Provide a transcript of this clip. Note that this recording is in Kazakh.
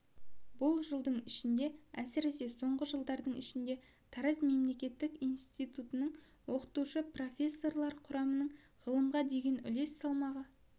бұл жылдың ішінде әсіресе соңғы жылдың ішінде тараз мемлекеттік институтының оқытушы-профессорлар құрамының ғылымға деген үлес салмағы